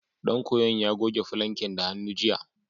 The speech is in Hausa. Ɗan koyon ya goge falanken da hannu, jiya.